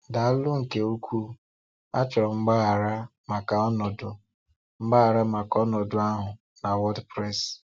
Dàálụ nke ukwuu, achọ̀ròm mgbaghara maka ònòdù mgbaghara maka ònòdù ahụ n’WordPress.